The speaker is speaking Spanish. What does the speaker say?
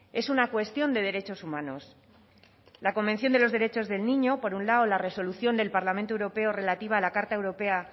es una cuestión de derechos humanos la convención de los derechos del niño por un lado la resolución del parlamento europeo relativa a la carta europea